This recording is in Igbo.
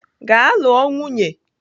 Gaa lụọ nwunye!